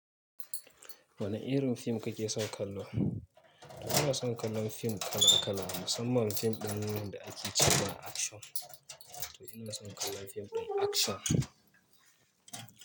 Wane irin fim kake son kallo? Ina son kallon fim kala kala, musamman fim ɗin da ake cewa action to ina son kallon fim ɗin akshan.